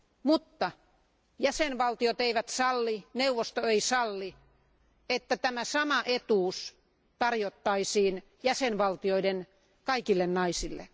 Mutta jäsenvaltiot eivät salli, neuvosto ei salli, että tämä sama etuus tarjottaisiin jäsenvaltioiden kaikille naisille.